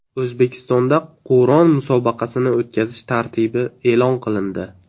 O‘zbekistonda Qur’on musobaqasini o‘tkazish tartibi e’lon qilindi.